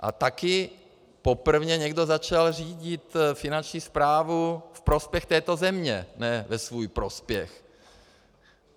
A taky poprvé někdo začal řídit finanční správu ve prospěch této země, ne ve svůj prospěch.